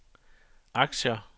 aktier